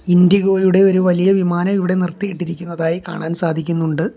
IndiGo യുടെ ഒരു വലിയ വിമാനം ഇവിടെ നിർത്തിയിട്ടിരിക്കുന്നതായി കാണാൻ സാധിക്കുന്നുണ്ട്.